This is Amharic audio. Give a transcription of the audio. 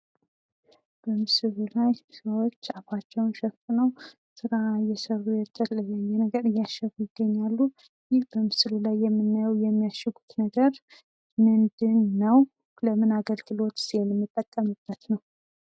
በምስሉ ላይ ሰዎች አፋቸውን ተሸፍነው ስራ እየሰሩ የተለያየ ነገር እያሸጉ ይገኛሉ ።ይህ በምስሉ ላይ የምናየው የሚያሽጉት ነገር ምንድን ነው ?ለምን አገልግሎትስ የምንጠቀምበት ነው ?